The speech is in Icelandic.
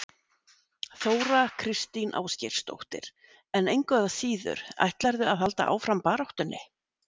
Þóra Kristín Ásgeirsdóttir: En engu að síður, ætlarðu að halda áfram baráttunni?